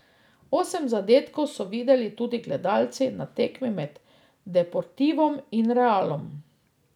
Osem zadetkov so videli tudi gledalci na tekmi med Deportivom in Realom.